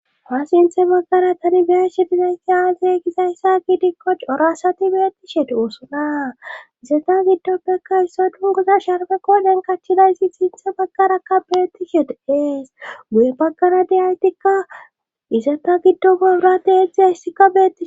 Ha sinthe baggara tani biyashe dizayti aaizey gizayssa giidikko corasati beettishe doosona izata giddoppekka isso dungoza sharfe kooden kachchidaysi sinthe baggarakka beettishete ees guye baggara diaytikka izata giddo babrati heexi ha hissika beii.